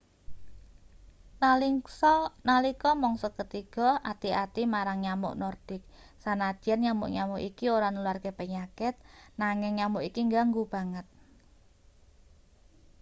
nalika mangsa ketiga ati-ati marang nyamuk nordik sanadyan nyamuk-nyamuk iki ora nularke penyakit nanging nyamuk iki ngganggu banget